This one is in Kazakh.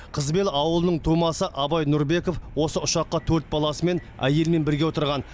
қызбел ауылының тумасы абай нұрбеков осы ұшаққа төрт баласымен әйелімен бірге отырған